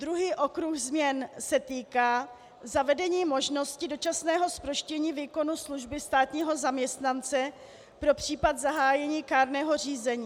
Druhý okruh změn se týká zavedení možnosti dočasného zproštění výkonu služby státního zaměstnance pro případ zahájení kárného řízení.